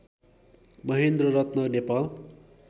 Mahendraratna Nepal